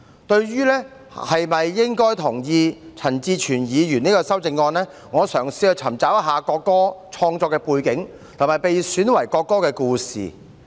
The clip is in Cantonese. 對於是否同意陳志全議員這項修正案，我嘗試尋找國歌的創作背景，以及被選為國歌的故事。